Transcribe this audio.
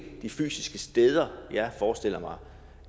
de fysiske steder jeg forestiller mig